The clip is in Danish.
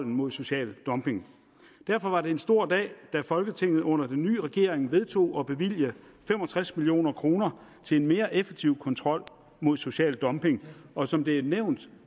mod social dumping derfor var det en stor dag da folketinget under den nye regering vedtog at bevilge fem og tres million kroner til en mere effektiv kontrol mod social dumping og som det er nævnt